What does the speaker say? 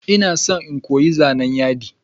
Ina son in koyi zanan yadi.